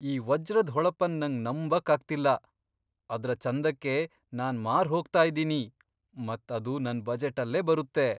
ಈ ವಜ್ರದ್ ಹೊಳಪನ್ ನಂಗ್ ನಂಬಕ್ ಆಗ್ತಿಲ್ಲ! ಅದ್ರ ಚಂದಕ್ಕೆ ನಾನ್ ಮಾರ್ ಹೋಗ್ತಾ ಇದ್ದೀನಿ, ಮತ್ ಅದು ನನ್ ಬಜೆಟ್ ಅಲ್ಲೇ ಬರುತ್ತೆ .